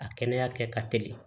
A kɛnɛya kɛ ka teli